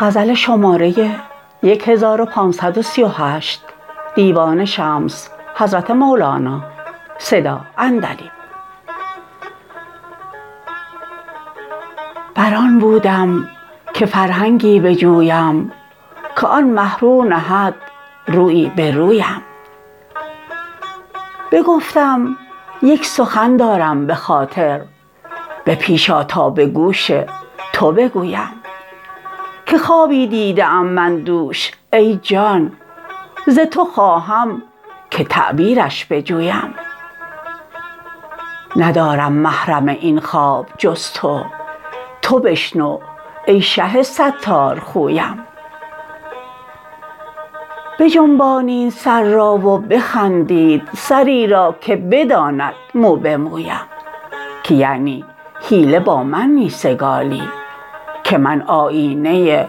بر آن بودم که فرهنگی بجویم که آن مه رو نهد رویی به رویم بگفتم یک سخن دارم به خاطر به پیش آ تا به گوش تو بگویم که خوابی دیده ام من دوش ای جان ز تو خواهم که تعبیرش بجویم ندارم محرم این خواب جز تو تو بشنو ای شه ستارخویم بجنبانید سر را و بخندید سری را که بداند مو به مویم که یعنی حیله با من می سکالی که من آیینه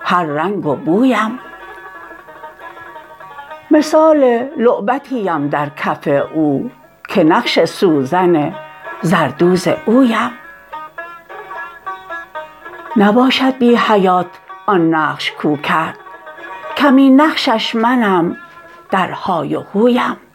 هر رنگ و بویم مثال لعبتی ام در کف او که نقش سوزن زردوز اویم نباشد بی حیات آن نقش کو کرد کمین نقشش منم درهای و هویم